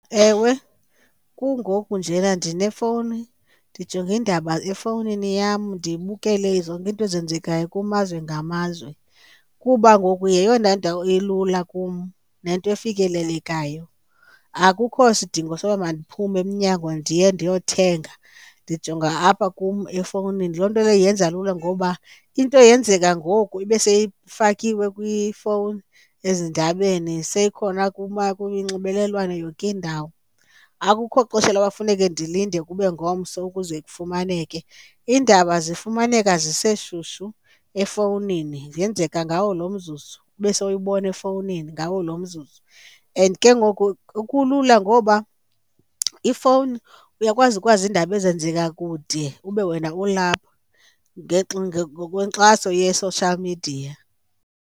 Ewe kungoku njena ndinefowuni ndijonge iindaba efowunini yam ndibukele zonke izinto ezenzekayo kumazwe ngamazwe, kuba ngoku yeyona ndawo elula kum nento efikelelekayo. Akukho sidingo soba mandiphume emnyango ndiye ndiyothenga, ndijonga apha kum efowunini. Loo nto leyo yenza lula ngoba into yenzeka ngoku ibe seyifakiwe kwifowuni ezindabeni seyikhona kunxibelelwano yonke indawo. Akukho xesha loba kufuneke ndilinde kube ngomso ukuze kufumaneke, iindaba zifumaneka ziseshushu efowunini, ziyenzeka ngawo lo mzuzu kube sowuyibona efowunini ngawo lo mzuzu. And ke ngoku kulula ngoba ifowuni uyakwazi ukwazi iindaba ezenzeka kude ube wena ulapha ngokwenkxaso ye-social media.